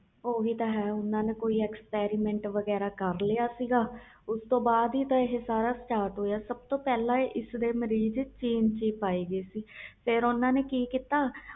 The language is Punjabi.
ਓਹੀ ਤੇ ਹੈ ਓਹਨਾ ਨੇ ਕੋਈ experiment ਕੀਤਾ ਉਸਤੋਂ ਬਾਦ ਹੀ ਆਹ start ਹੋਇਆ ਸਬ ਤੋਂ ਪਹਲੇ ਚੀਨ ਵਿਚ ਹੀ ਮਰੀਜ਼ ਪਾਏ ਗਏ ਸੀ ਕਰੋਨਾ ਦੇ